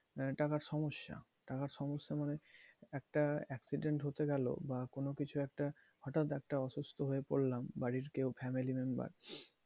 আহ টাকার সমস্যা, টাকার সমস্যা মানে একটা accident হতে গেলো বা কোনো কিছুর একটা হঠাৎ একটা অসুস্থ হয়ে পড়লাম বাড়ির কেউ family member